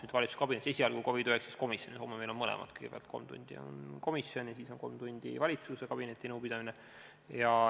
Mitte valitsuskabinetis, vaid esialgu COVID-19 komisjonis arutame seda, homme on meil mõlemad – kõigepealt on kolm tundi komisjon ja siis on kolm tundi valitsuskabineti nõupidamine.